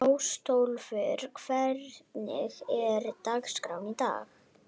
Ásólfur, hvernig er dagskráin í dag?